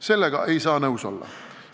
Sellega ei saa nõus olla!